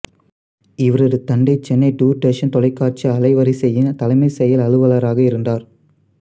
இவரது தந்தை சென்னை தூர்தர்ஷன் தொலைக்காட்சி அலைவரிசையின் தலைமை செயல் அலுவலராக இருந்தார்